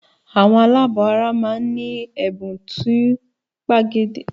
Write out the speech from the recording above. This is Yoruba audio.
Àwọn aláàbọ̀ara máa ń ní ẹ̀bùn tó pegedé.